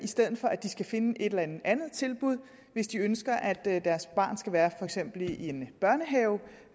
stedet for at de skal finde et eller andet andet tilbud hvis de ønsker at deres barn skal være for eksempel i en børnehave